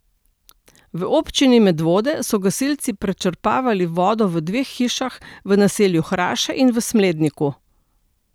V občini Medvode so gasilci prečrpavali vodo v dveh hišah v naselju Hraše in v Smledniku.